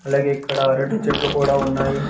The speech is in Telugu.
అలాగే ఇక్కడ రెండు చెట్లు కూడా ఉన్నాయి.